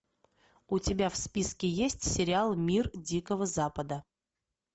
у тебя в списке есть сериал мир дикого запада